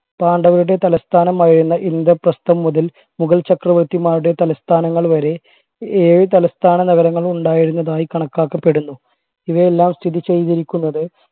പാണ്ഡവരുടെ തലസ്ഥാനമായിരുന്ന ഇന്ദ്രപ്രസ്ഥം മുതൽ മുഗൾ ചക്രവർത്തിമാരുടെ തലസ്ഥാനങ്ങൾ വരെ ഏഴ് തലസ്ഥാന നഗരങ്ങൾ ഉണ്ടായിരുന്നതായി കണക്കാക്കപ്പെടുന്നു ഇവയെല്ലാം സ്ഥിതി ചെയ്തിരിക്കുന്നത്